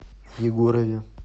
егорове